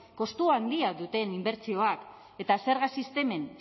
kostu handia duten inbertsioak eta zerga